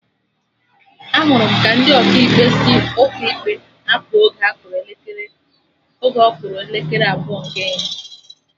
Ahụrụ m ka ndị Ọkaikpe si ụkọ ikpe apụ oge ọ kụrụ elekere abụọ nke ehihie